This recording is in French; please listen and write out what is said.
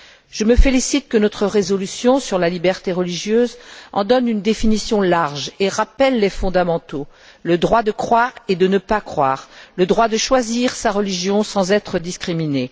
Je me félicite que notre résolution sur la liberté de religion en donne une définition large et rappelle les fondamentaux le droit de croire et de ne pas croire, le droit de choisir sa religion sans être discriminé.